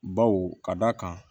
Baw ka d'a kan